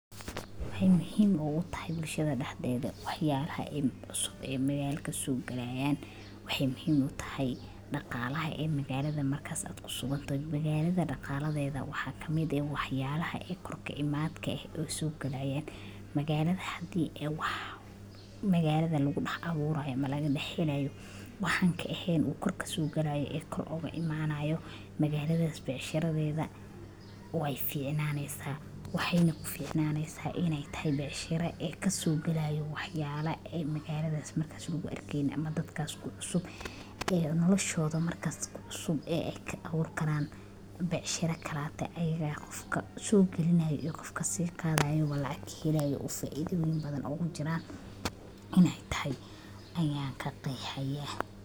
Waxay muhim ugu tahay bulshada daxdeeda waxayalaha cusub e magalka sogalayan waxay muhim utahay daqalaha e magalada markas ad kusugantahay daqaladeeda waxa kamid eh waxyalaha kor kaimadka eh e sogalayan magalda hadi ay wax magalada lagu dax abuurayo lagea helayo waxa an kaeheen kor kasogalayo e kor ugu imadayo magaaldas beecshara deeda way ficnan neysa waxayna kuficnaneysa inay tahay beecshara kasogalayo waxyala e magaladas marka lagu arkeynin ama magalada marka kucusub e kaburikaran beshara kalate ay qofka sogalinayo iyo qofka kasiqadayaba lacag kahelayan faido badan ugu jira inay tahay ayan kaqeexa ya.